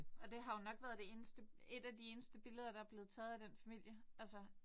Og det har jo nok været været det eneste et af de eneste billeder der er blevet taget af den familie altså